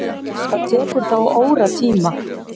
Það tekur þá óratíma.